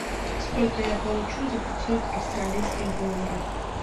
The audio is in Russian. сколько я получу за пятьсот австралийских долларов